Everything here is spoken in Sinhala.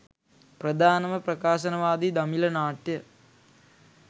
ප්‍රධානම ප්‍රකාශනවාදී දමිළ නාට්‍ය